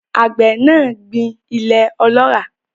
Àgbẹ̀ náà gbìn ilẹ̀ ọlọ́ràá.